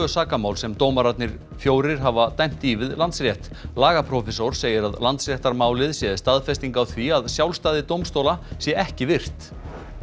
sakamál sem dómararnir fjórir hafa dæmt í við Landsrétt lagaprófessor segir að Landsréttarmálið sé staðfesting á því að sjálfstæði dómstóla sé ekki virt